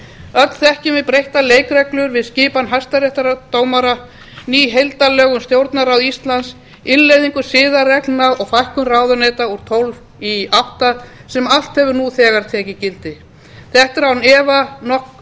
öll þekkjum við breyttar leikreglur við skipan hæstaréttardómara ný heildarlög um stjórnarráð íslands innleiðingu siðareglna og fækkun ráðuneyta úr tólf í átta sem allt hefur nú þegar tekið gildi þetta er